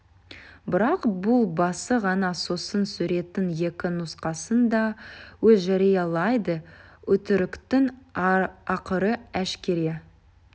бірақ бұл басы ғана сосын суреттің екі нұсқасын да өз жариялайды өтіріктің ақыры әшкере